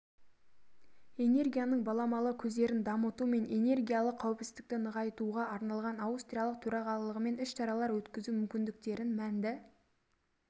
энергияның баламалы көздерін дамыту мен энергиялық қауіпсіздікті нығайтуға арналған аустриялық төрағалығымен іс-шаралар өткізу мүмкіндіктерін мәнді